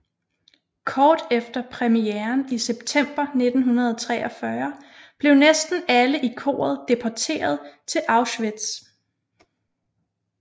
Kort efter premieren i september 1943 blev næsten alle i koret deporteret til Auschwitz